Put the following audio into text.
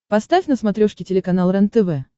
поставь на смотрешке телеканал рентв